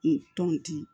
I tɔnti